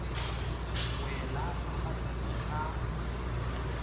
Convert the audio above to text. wela ka fa tlase ga